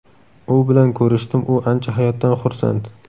U bilan ko‘rishdim, u ancha hayotdan xursand.